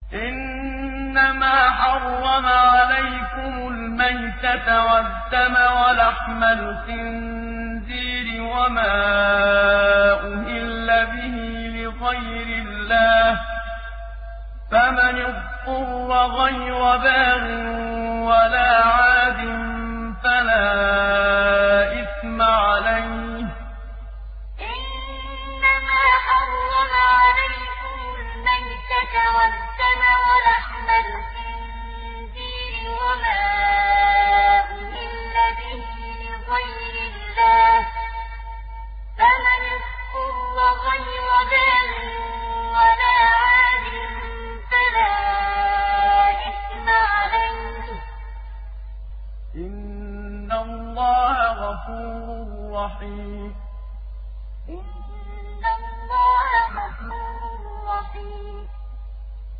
إِنَّمَا حَرَّمَ عَلَيْكُمُ الْمَيْتَةَ وَالدَّمَ وَلَحْمَ الْخِنزِيرِ وَمَا أُهِلَّ بِهِ لِغَيْرِ اللَّهِ ۖ فَمَنِ اضْطُرَّ غَيْرَ بَاغٍ وَلَا عَادٍ فَلَا إِثْمَ عَلَيْهِ ۚ إِنَّ اللَّهَ غَفُورٌ رَّحِيمٌ إِنَّمَا حَرَّمَ عَلَيْكُمُ الْمَيْتَةَ وَالدَّمَ وَلَحْمَ الْخِنزِيرِ وَمَا أُهِلَّ بِهِ لِغَيْرِ اللَّهِ ۖ فَمَنِ اضْطُرَّ غَيْرَ بَاغٍ وَلَا عَادٍ فَلَا إِثْمَ عَلَيْهِ ۚ إِنَّ اللَّهَ غَفُورٌ رَّحِيمٌ